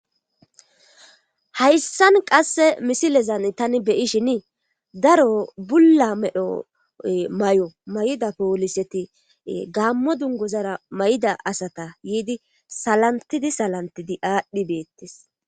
hayssan qasse misilezan tani beyishin daro bulla medho may7o may7ida pooliseti gaammo dungozara may7ida asata yiidi salantidi salantidi aadhdhi beettes